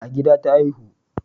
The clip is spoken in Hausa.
A gida ta haihu